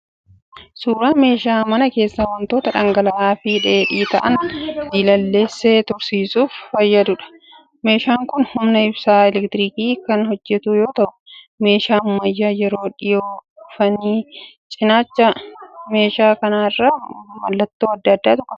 Suuraa meeshaa mana keessaa wantoota dhangala'aa fi dheedhii ta'aan diilalleessee tursiisuuf fayyaduudha. Meeshaan kun humna ibsaa 'elektirikiin' kan hojjetu yoo ta'u meeshaa ammayyaa yeroo dhiyoo dhufaniidha. Cinaacha meeshaa kana irra mallattoo adda addaatu jira.